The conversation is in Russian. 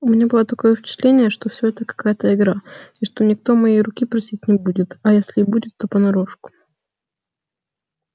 у меня было такое впечатление что всё это какая-то игра и что никто моей руки просить не будет а если и будет то понарошку